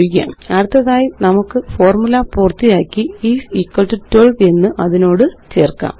അടുത്തതായി നമുക്ക് ഫോര്മുല പൂര്ത്തിയാക്കി ഐഎസ് ഇക്വൽ ടോ12 എന്ന് അതിനോട് ചേര്ക്കാം